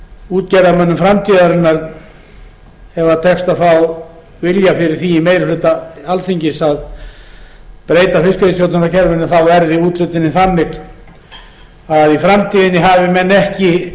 útgerðarmönnum framtíðarinnar ef tekst að fá vilja fyrir því í meiri hluta alþingis að breyta fiskveiðistjórnarkerfinu þá verði úthlutunin þannig að í framtíðinni hafi menn ekki